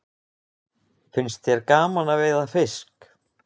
Finnst þér gaman að veiða fisk?